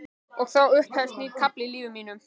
Og þá upphefst nýr kafli í lífi mínu.